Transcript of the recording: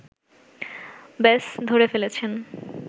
ব্যস ধরে ফেলেছেন